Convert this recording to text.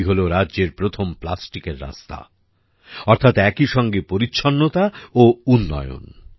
তৈরি হল রাজ্যের প্রথম প্লাস্টিকের রাস্তা অর্থাৎ একইসঙ্গে পরিচ্ছন্নতা ও উন্নয়ন